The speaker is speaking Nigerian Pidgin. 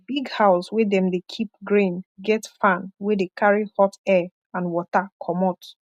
di big house wey dem dey keep grain get fan wey de carry hot air and water comot